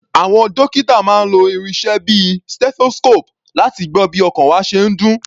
Àwọn dókítà máa ń lo irinṣẹ́ bíi stethoscope láti gbọ́ bí ọkàn wa ṣe ń dún.